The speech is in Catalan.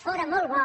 fóra molt bo